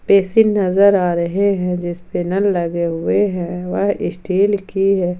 Basin नजर आ रहे हैं जिसपे नल लगे हुए है वह स्टील की है।